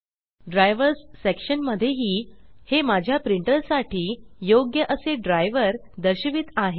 drivers section मध्येही हे माझ्या प्रिंटर साठी योग्य असे ड्राइवर दर्शवित आहे